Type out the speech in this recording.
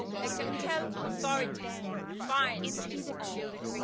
It can help authorities find missing children.